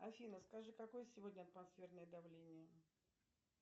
афина скажи какое сегодня атмосферное давление